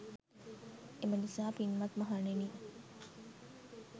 එම නිසා පින්වත් මහණෙනි